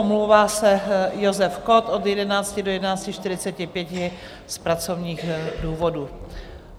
Omlouvá se Josef Kott od 11.00 do 11.45 z pracovních důvodů.